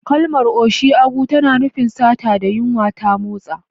Kalmar "Oshi aguo" tana nufin sata da yunwa ta motsa.